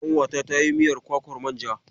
Ƙanwata ta yi miyar kwakwar manja.